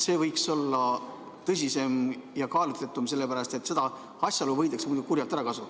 See võiks olla tõsisem ja kaalutletum, sellepärast et seda asjaolu võidakse muidu kurjalt ära kasuta.